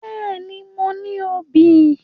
Bẹ́ẹ̀ni, mo ní obì